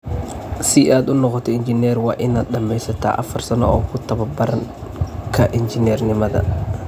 Si aad u noqoto injineer, waa inaad dhammaysatay afar sano oo ku taababarka injineernimada.